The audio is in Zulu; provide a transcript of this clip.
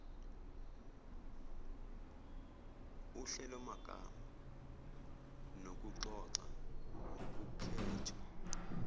uhlelomagama nokuxoxa ngokukhethwa